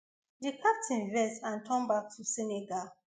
di captain vex and turn back to senegal